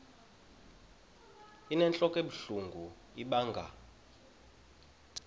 inentlok ebuhlungu ibanga